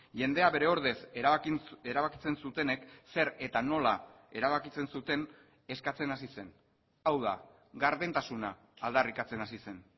jendea bere ordez erabakitzen zutenek zer eta nola erabakitzen zuten eskatzen hasi zen hau da gardentasuna aldarrikatzen hasi zen